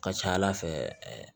Ka ca ala fɛ ɛɛ